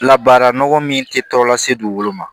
La baara nɔgɔ min te tɔ lase dugukolo ma